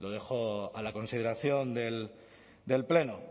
lo dejó a la consideración del pleno